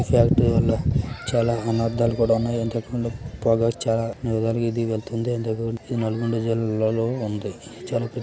ఈ ఫ్యాక్టరీ వాలా చాలా అనర్ధాలు కూడా ఉన్నాయి ఇంతకు ముందు పొగ్గ చాలా అని విధాలుగా వెళుతుంది . ఇది నెలకొండ జిల్లా లో ఉంది.